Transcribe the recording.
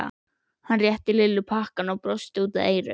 Hann rétti Lillu pakkann og brosti út að eyrum.